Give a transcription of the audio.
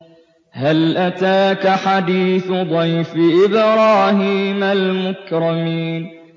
هَلْ أَتَاكَ حَدِيثُ ضَيْفِ إِبْرَاهِيمَ الْمُكْرَمِينَ